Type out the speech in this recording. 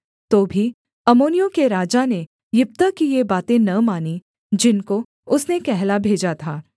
तो भी अम्मोनियों के राजा ने यिप्तह की ये बातें न मानीं जिनको उसने कहला भेजा था